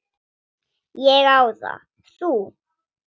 Ég á það. Þú?